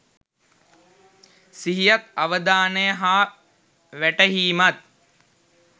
සිහියත් අවධානය හා වැටහීමත්